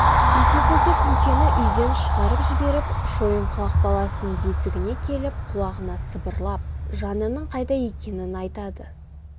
сөйтеді де күңкені үйден шығарып жіберіп шойынқұлақ баласының бесігіне келіп құлағына сыбырлап жанының қайда екенін айтады